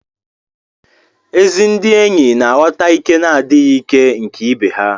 Ezi ndị enyi na-aghọta ìké na adịghị ìké nke ibe ha.